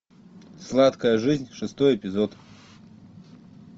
сладкая жизнь шестой эпизод